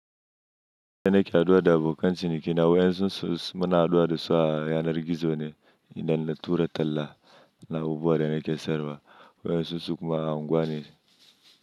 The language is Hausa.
Da na ke haduwa da abokan ciniki na wayan su muna haduwa da su a yanar gizo ne idan na tura talla. Na abubuwan da nake sayarwa wa'in su su kuma unguwa ne.